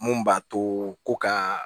Mun b'a to ko ka